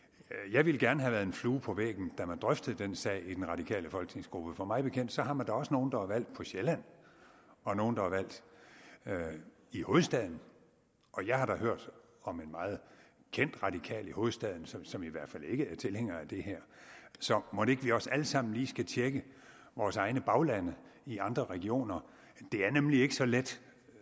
jeg ville gerne have været en flue på væggen da man drøftede denne sag i den radikale folketingsgruppe for mig bekendt har man da også nogle der er valgt på sjælland og i hovedstaden og jeg har hørt om en meget kendt radikal i hovedstaden som som i hvert fald ikke er tilhænger af det her så mon ikke vi også alle sammen lige skal tjekke vores egne baglande i andre regioner det er nemlig ikke så let